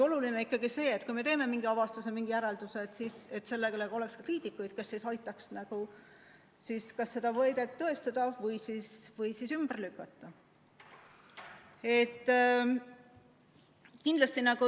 Oluline on see, et kui me teeme mingi avastuse, mingi järelduse, siis oleks ka kriitikuid, kes aitaks siis kas seda väidet tõestada või ümber lükata.